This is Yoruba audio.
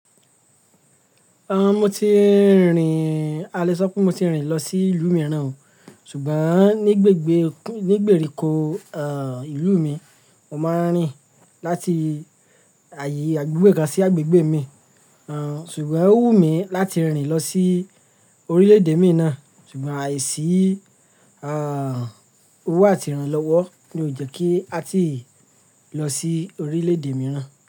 Ah, mo ti rìn, a lè sọ pé mo ti rìn lọ sí ìlú mìràn o Ṣùgbọ́n ní gbègbè, ní gbèríko, ah, ìlú mi, mo máa ń rìn láti àyè agbegbe kan sí agbègbè mi. Ah, ṣùgbọ́n ó wù mí láti rìn lọ sí oríle-èdè mí naa. Ṣùgbọ́n àìsí, ah, owó àti ìrànlọ́wọ́ ni ò jẹ́ kí a ti lọ sí oríle-èdè mìràn.